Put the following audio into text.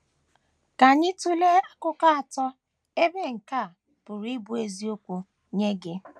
Ka anyị tụlee akụkụ atọ ebe nke a pụrụ ịbụ eziokwu nye gị.